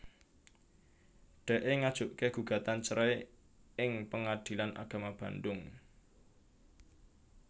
Dee ngajuké gugatan cerai ing Pengadilan Agama Bandung